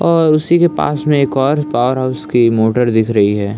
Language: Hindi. और उसी के पास में एक और पावरहाउस की मोटर दिख रही है।